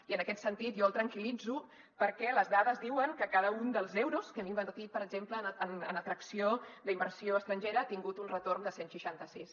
i en aquest sentit jo el tranquil·litzo perquè les dades diuen que cada un dels euros que hem invertit per exemple en atracció d’inversió estrangera ha tingut un retorn de cent i seixanta sis